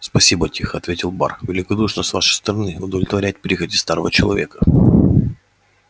спасибо тихо ответил бар великодушно с вашей стороны удовлетворять прихоти старого человека